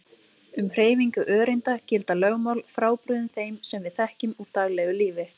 Um hreyfingu öreinda gilda lögmál frábrugðin þeim sem við þekkjum úr daglegu lífi.